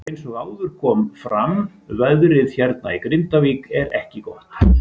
Eins og áður kom fram veðrið hérna í Grindavík ekki gott.